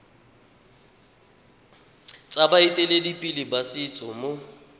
tsa baeteledipele ba setso mo